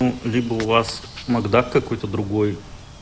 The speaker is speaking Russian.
ну либо у вас мак да какой-то другой